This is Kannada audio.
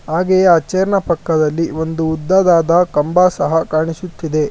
ಹಾಗೆಯೆ ಚೇರ್ ನ ಪಕ್ಕದಲ್ಲಿ ಒಂದು ಉದ್ದದಾದ ಕಂಬ ಸಹ ಕಾಣಿಸುತ್ತಿದೆ.